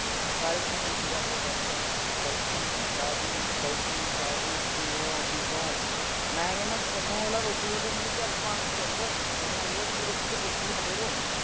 ਸਾਰੇ ਤੁਹਾਨੂੰ ਜੀ ਜੀ ਕਰਦੇ ਫਿਰਨੇ, ਹਾਂ ਬਈ ਬਾਈ ਜੀ, ਸ਼ਾਹ ਜੀ, ਬਾਈ ਜੀ, ਸ਼ਾਹ ਜੀ। ਕਿਵੇਂ ਓ ਠੀਕ ਓ। ਮੈਂ ਕਹਿਣਾ ਨਾ ਥੋਨੂੰ ਰੋਟੀ ਮੂੰਹ ਤੱਕ ਪਾਉਣ ਤੇ ਜਾਉਗਾ। ਥੋਨੂੰ ਆਏ ਕਹੂਗਾ, ਰੋਟੀ ਦੀ ਬੁਰਕੀ ਵੀ ਨਾ ਤੋੜੋ।